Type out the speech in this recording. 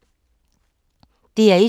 DR1